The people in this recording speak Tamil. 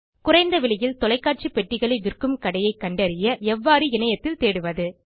குறைந்த விலையில் தொலைக்காட்சி பெட்டிகளை விற்கும் கடையை கண்டறிய எவ்வாறு இணையத்தில் தேடுவது